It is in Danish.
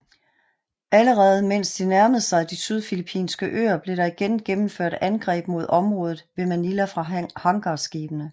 Allerede mens de nærmede sig de sydfilippinske øer blev der igen gennemført angreb mod området ved Manila fra hangarskibene